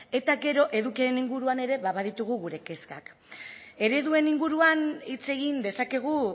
eta gero edukiaren inguruan eta ere baditugu gure kezkak ereduen inguruan hitz egin dezakegu